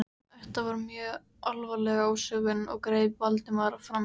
Þetta var mjög alvarleg ásökun- greip Valdimar fram í.